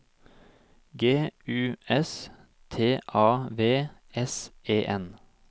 G U S T A V S E N